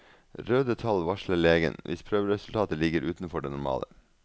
Røde tall varsler legen, hvis prøveresultatet ligger utenfor det normale.